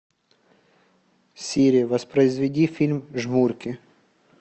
сири воспроизведи фильм жмурки